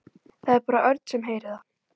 Það er bara Örn sem heyrir það,